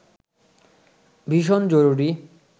ভীষণ জরুরি